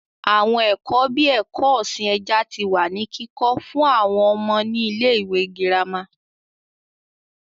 Àwọn ẹ̀kọ́ bíi ẹ̀kọ́ ọ̀sìn ẹja tí wá ní kíkọ́ fún àwọn ọmọ ní ilé ìwé gírámà